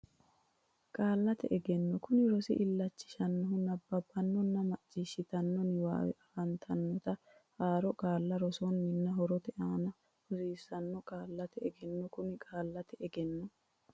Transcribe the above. Qaallate Egenno Kuni rosi illachishannohu nabbabbannonna macciishshitanno niwaawe afantannota haaro qaalla rossannonna horote aana hosiissanno Qaallate Egenno Kuni Qaallate Egenno.